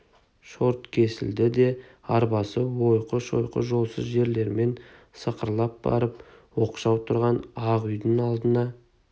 шорт кесілді де арбасы ойқы-шойқы жолсыз жермен сықырлап барып оқшау тұрған ақ үйдің алдына